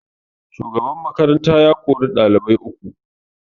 Shugaban makaranta ya kori dalibai uku